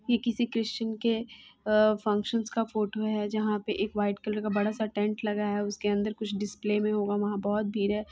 ये किसी क्रिश्चियन के अ फंक्शन्स का फोटो है जहा पे एक व्हाइट कलर का बड़ा सा टेंट लगाया हुआ है उसके अंदर कुछ डिस्प्ले मे होगा वहा बहुत भीड़ है।